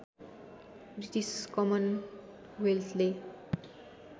British कमन वेल्थले